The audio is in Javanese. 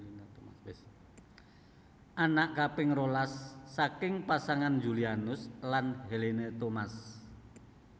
Anak kaping rolas saking pasangan Julianus lan Helena Thomas